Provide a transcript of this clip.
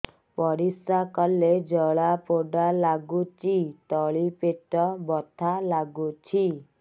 ପରିଶ୍ରା କଲେ ଜଳା ପୋଡା ଲାଗୁଚି ତଳି ପେଟ ବଥା ଲାଗୁଛି